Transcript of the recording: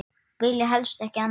Vilja helst ekki annað.